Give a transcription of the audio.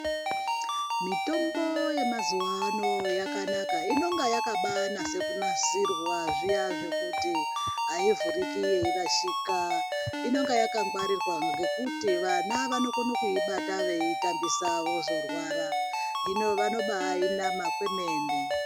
Mitombo yemazuvano yakanaka inonga yakabai nasa kunasirwa zviya zvekuti ayivhuriki yei rashika inonga yaka ngwarirwa ngekuti vana vanokone kuibata veitambisa vozo rwara hino vanombai nama kwemene.